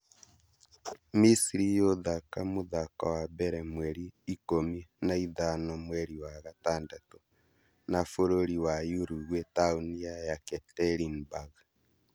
Misiri yũthaka mũthako wa mbere mweri ikũmi na ithano mweri wa gatandatũ na bũrũri wa Uruguay taoni ya Yekaterinburg